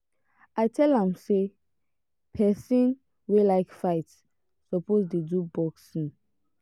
i tell am sey pesin wey like fight suppose dey do boxing.